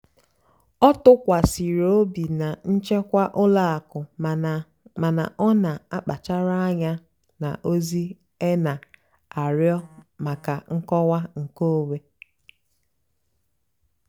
ọ́ tụ́kwàsìrì óbì nà nchèkwà ùlọ àkụ́ màná màná ọ́ nà-àkpàchárá ànyá nà ózì-é nà-àrịọ́ màkà nkọ́wá nkèónwé.